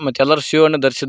ಮತ್ತೆ ಎಲ್ಲರೂ ಶೂ ಅನ್ನು ಧರಿಸಿದ್--